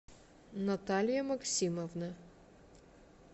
наталья максимовна